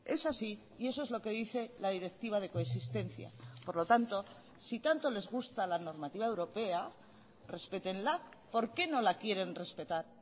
es así y eso es lo que dice la directiva de coexistencia por lo tanto si tanto les gusta la normativa europea respétenla por qué no la quieren respetar